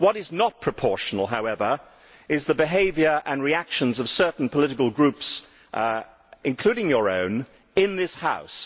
What is not proportional, however, is the behaviour and reactions of certain political groups, including your own, in this House.